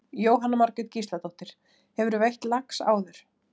Jóhanna Margrét Gísladóttir: Hefurðu veitt lax áður?